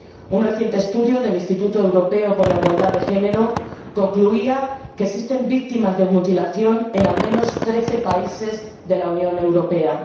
Un reciente estudio del Instituto Europeo por la Igualdad de Género concluía que existen víctimas de mutilación en al menos trece países de la Unión Europea.